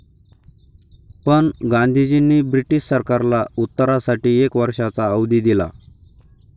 पण गांधीजींनी ब्रिटिश सरकारला उत्तरासाठी एक वर्षाचा अवधी दिला.